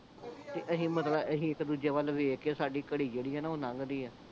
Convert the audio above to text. ਤੇ ਅਸੀਂ ਮਤਲਬ ਇੱਕ ਦੂਜੇ ਵੱਲਵੇਖ ਕੇ ਤੇ ਸਾਡੀ ਘੜੀ ਜਿਹੜੀ ਆ ਨਾ ਓਹ ਨੰਗਦੀ ਆ